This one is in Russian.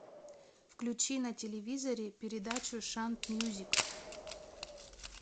включи на телевизоре передачу шант мьюзик